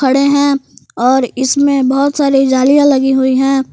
अड़े है और इसमें बहोत सारी जालियां लगी हुई है।